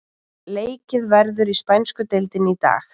Leikið verður í spænsku deildinni í dag.